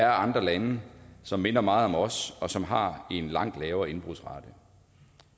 andre lande som minder meget om os som har en langt lavere indbrudsrate